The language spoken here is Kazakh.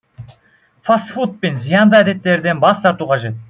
фаст фуд пен зиянды әдеттерден бас тарту қажет